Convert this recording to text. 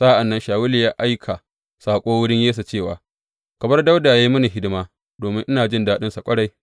Sa’an nan Shawulu ya aika saƙo wurin Yesse cewa, Ka bar Dawuda yă yi mini hidima domin ina jin daɗinsa ƙwarai.